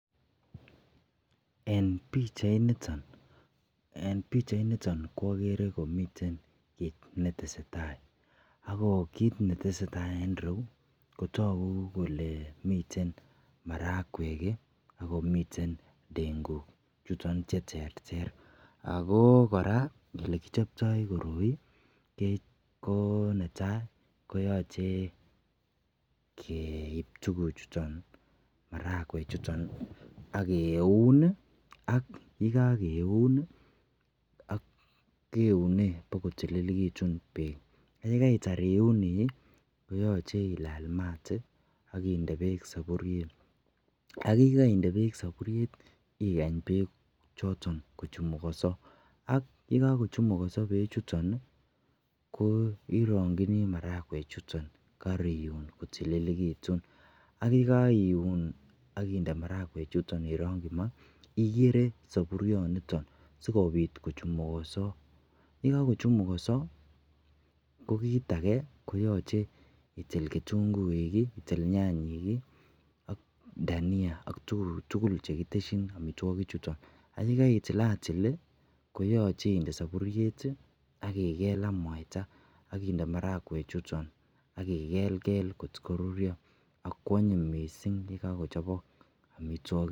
en pichait niton ko ogere komiten kiit netesetai, agoo kiit netesetai en ireuu kotogu kole miten marakweek iih ak komiten ndenguuk chuton cheterter, agoo koraa olegichoptoo koroi koo netai koyoche keeib tuguk chuton makweek chuton ak keuun iih, ak yegogeuun keunee bo kotililegitun beek, yegaitaar iuuni koyoche ilaal maat ak indee beek saburyeet ak yegoindee beek saburyeet iih igany beek choton kochumugoso ak yegoguchumugoso beek chuton iih, iironkyinii marakweek chuton kariuun kotilegituun ak yegoiuun ak indee marakweek chuton ironkyi maah, inde saburyooniton sigobiit kochumugose, yegagochumugoso ko kiit age koyoche iitil ketunguuik iih itiil nyantiik iih ak dania ak tuguuk tugul chegiteschin omitwogiik chuton, ak yegaitilatil iih koyoche inde saburyeet iih ak igeel ak mwaitaa ak inde marakweek chuton igelgel kot koruryoo ak kwonyiny mising yegagochobok omitwogik.